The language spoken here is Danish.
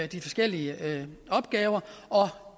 de forskellige opgaver og